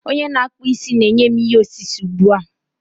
Onye na-akpụ isi na-enye m ihe osise ugbu a.